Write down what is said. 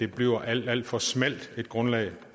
bliver et alt alt for smalt grundlag